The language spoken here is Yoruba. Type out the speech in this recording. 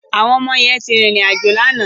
Àwọn ọmọ yẹn ti rìnrìn àjò lánàá.